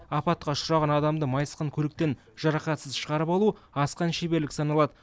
апатқа ұшыраған адамды майысқан көліктен жарақатсыз шығарып алу асқан шеберлік саналады